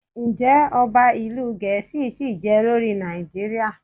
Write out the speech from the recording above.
Ǹjẹ́ Ọba ìlú Gẹ̀ẹ́sì ṣìí je lórí Nàìjíríà?